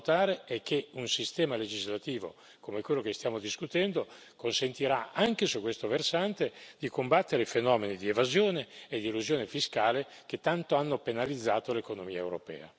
La terza cosa, da non sottovalutare, è che un sistema legislativo come quello che stiamo discutendo consentirà anche su questo versante di combattere fenomeni di evasione ed elusione fiscale che tanto hanno penalizzato l'economia europea.